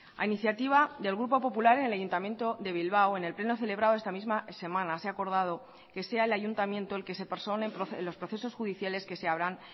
a iniciativa del grupo popular en el ayuntamiento de bilbao en el pleno celebrado esta misma semana se ha acordado que sea el ayuntamiento el que se persone en los procesos judiciales que se abran